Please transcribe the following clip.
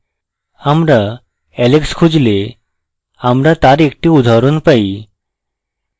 আমরা alex খুঁজলে আমরা তার একটি উদাহরণ পাই